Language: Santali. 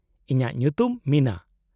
-ᱤᱧᱟᱹᱜ ᱧᱩᱛᱩᱢ ᱢᱤᱱᱟ ᱾